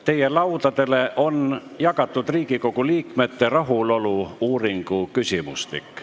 Teie laudadele on jagatud Riigikogu liikmete rahulolu-uuringu küsimustik.